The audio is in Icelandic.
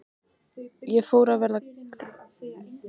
Ég fór að verða gramur og leiður.